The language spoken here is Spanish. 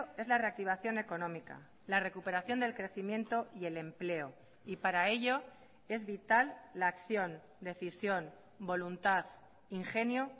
es la reactivación económica la recuperación del crecimiento y el empleo y para ello es vital la acción decisión voluntad ingenio